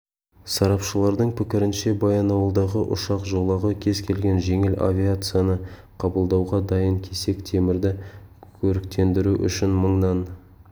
сарапшылардың пікірінше баянауылдағы ұшақ жолағы кез келген жеңіл авиацияны қабылдауға дайын кесек темірді көріктендіру үшін мыңнан